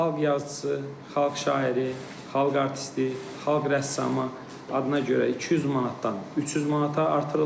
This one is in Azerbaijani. Xalq yazıçısı, xalq şairi, xalq artisti, xalq rəssamı adına görə 200 manatdan 300 manata artırılmış.